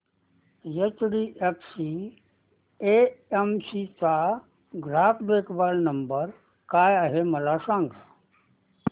HDFC AMC चा ग्राहक देखभाल नंबर काय आहे मला सांग